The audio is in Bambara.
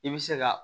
I bɛ se ka